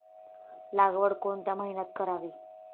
लागवड कोणत्या महिन्यात करावी